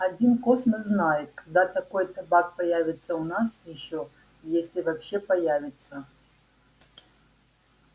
один космос знает когда такой табак появится у нас ещё если вообще появится